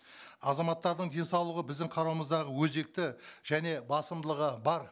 азаматтардың денсаулығы біздің қарауымыздағы өзекті және басымдылығы бар